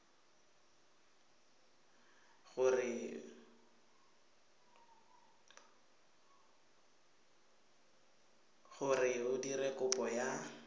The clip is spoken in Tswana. gore o dire kopo ya